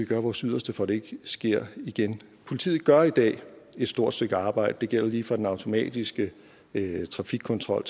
gøre vores yderste for ikke sker igen politiet gør i dag et stort stykke arbejde det gælder lige fra den automatiske trafikkontrol